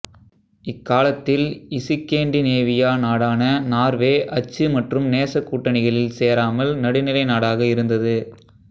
இக்காலத்தில் இசுக்கேண்டிநேவியா நாடான நார்வே அச்சு மற்றும் நேச கூட்டணிகளில் சேராமல் நடுநிலை நாடாக இருந்தது